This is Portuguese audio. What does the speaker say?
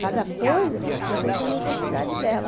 Cada coisa de acordo com a necessidade dela.